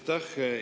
Aitäh!